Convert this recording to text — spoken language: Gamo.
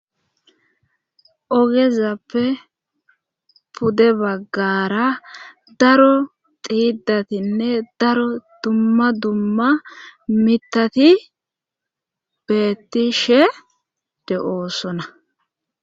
ogezappe pude baggara daro xiidatinne daro dumma dumma mitati beettishe de'oosona